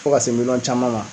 Fɔ ka se miliyɔn caman ma